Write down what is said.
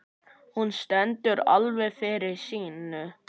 Hún stendur alveg fyrir sínu.